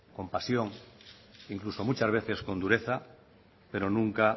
con pasión incluso muchas veces con dureza pero nunca